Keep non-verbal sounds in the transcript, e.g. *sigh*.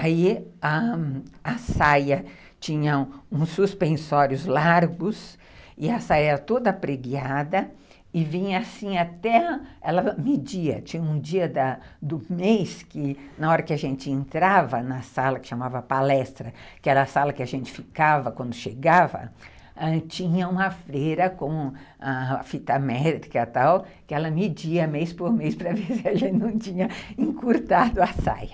Aí a, a saia tinha uns suspensórios largos e a saia era toda pregueada e vinha assim até, ela media, tinha um dia do do mês que na hora que a gente entrava na sala, que chamava palestra, que era a sala que a gente ficava quando chegava, ãh, tinha uma freira com ãh a fita médica e tal, que ela media mês por mês para ver se a gente não tinha encurtado *laughs* a saia.